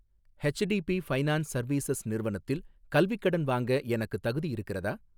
HDB Finance Services நிறுவனத்தில் கல்விக் கடன் வாங்க எனக்குத் தகுதி இருக்கிறதா?